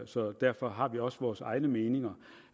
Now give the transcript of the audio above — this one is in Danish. så derfor har vi også vores egne meninger